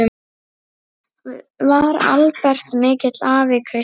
Var Albert mikill afi, Krissa?